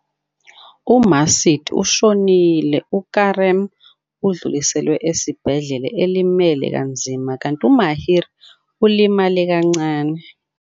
UMacide ushonile, uKerem udluliselwa esibhedlela elimele kanzima kanti uMahir ulimala kancane.